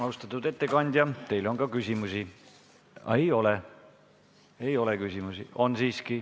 Austatud ettekandja, teile on ka küsimusi.